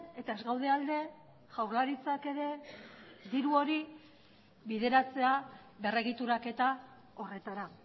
eta ez gaude alde jaurlaritzak ere diru hori bideratzea berregituraketa horretara